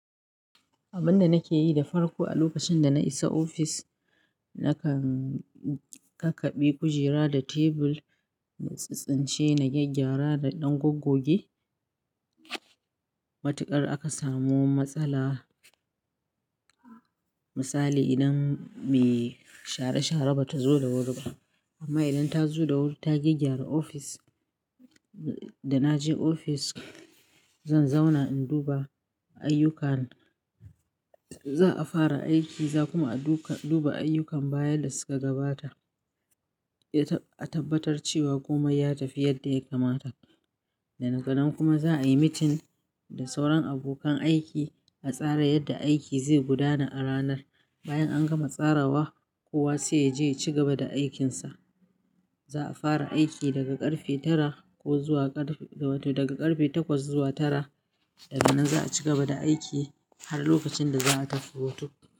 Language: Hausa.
Abin da nake yi da farko a lokacin da na isa ofis, nakan kakabe kujera da tebur, na tsintsintce, na gyaggyara da ɗan goggoge. Matuƙar aka samu matsala, misali idan me share-share bata zo da wuri ba. Amma idan ta zo da wuri, ta gyaggyara ofis. Da na je ofis, zan zauna in duba ayyukan za a fara aiki, za kuma a duka-duba ayyukan baya da suka gabata. A tabbatar cewa komai ya tafi yadda ya kamata. Da na ganan kuma za a yi mitin da sauran abokan aiki a tsara yadda aiki zai gudana a ranar. Bayan an gama tsarawa, kowa sai ya je ya ci gaba da aikinsa. Za a fara aiki daga ƙarfe tara ko zuwa ƙarfe, to wato daga ƙarfe takwas zuwa tara. Daga nan za a ci gaba da aiki har lokacin da za a tafi hutu.